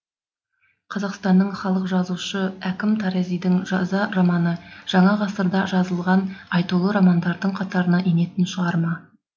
қазақстанның халық жазушы әкім таразидің жаза романы жаңа ғасырда жазылған айтулы романдардың қатарына енетін шығарма